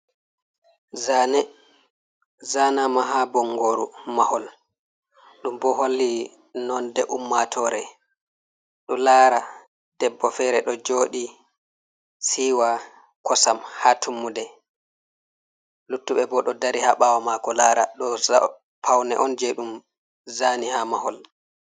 Zane. zanama ha bongoru mahol. Ɗum bo holli nonɗe ummatore ɗo lara ɗebbo fere do jooɗi siwa kosam ha tummuɗe. Luttuɓe bo ɗo dari ha bawo mako lara ɗo paune on je ɗum zani ha mahol.